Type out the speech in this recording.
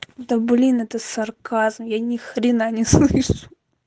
да блин это сарказм я ни хрена не слышу